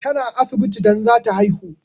Ta na asibiti don zata haihu